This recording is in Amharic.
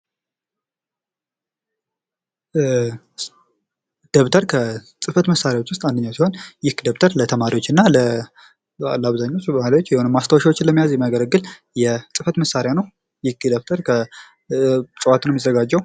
ዶብተር ከፅህፈት መሳሪያዎች መካከል አንደኛው ሲሆን ደብተር ለተማሪዎች እና በአብዛኛው ለተማሪዎች ማስታወሻዎችን ለመያዝ የሚያገለግል የጽፈት መሳሪያ ነው። ይህ ደብተር ከእፅዋት ነው የሚዘጋጀው።